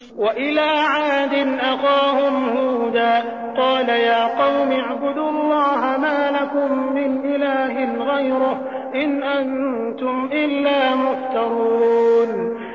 وَإِلَىٰ عَادٍ أَخَاهُمْ هُودًا ۚ قَالَ يَا قَوْمِ اعْبُدُوا اللَّهَ مَا لَكُم مِّنْ إِلَٰهٍ غَيْرُهُ ۖ إِنْ أَنتُمْ إِلَّا مُفْتَرُونَ